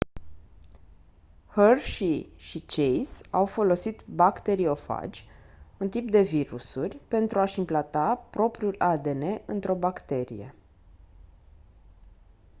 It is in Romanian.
hershey și chase au folosit bacteriofagi un tip de virusuri pentru a-și implanta propriul adn într-o bacterie